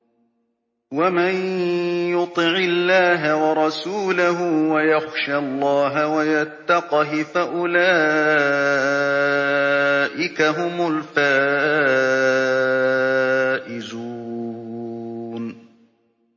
وَمَن يُطِعِ اللَّهَ وَرَسُولَهُ وَيَخْشَ اللَّهَ وَيَتَّقْهِ فَأُولَٰئِكَ هُمُ الْفَائِزُونَ